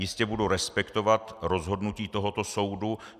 Jistě budu respektovat rozhodnutí tohoto soudu.